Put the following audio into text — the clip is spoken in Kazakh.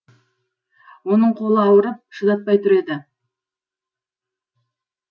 оның қолы ауырып шыдатпай тұр еді